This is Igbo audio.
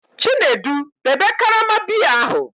Chinedu, debe karama biya ahu!